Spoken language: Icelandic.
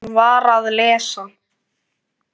Hún var að lesa